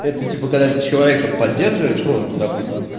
это типа когда ты человека поддерживаешь ну допустим